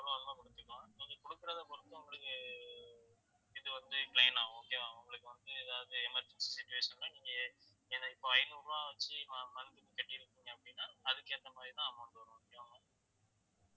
நீங்க குடுக்குறதாய் பொறுத்து உங்களுக்கு இது வந்து claim ஆகும் okay வா உங்களுக்கு வந்து ஏதாவது emergency situation ல நீங்க ஏன்னா இப்ப ஐநூறு ரூபாய் வச்சு அஹ் month க்கு கட்டிருக்கீங்க அப்படின்னா அதுக்கு ஏத்த மாதிரிதான் amount வரும் okay வா ma'am